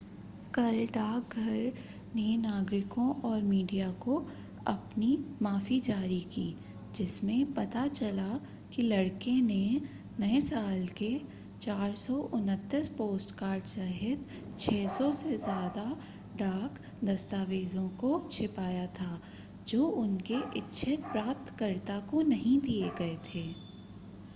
कल डाकघर ने नागरिकों और मीडिया को अपनी माफ़ी जारी की जिसमें पता चला कि लड़के ने नए साल के 429 पोस्टकार्ड सहित 600 से ज़्यादा डाक दस्तावेज़ों को छिपाया था जो उनके इच्छित प्राप्तकर्ता को नहीं दिए गए थे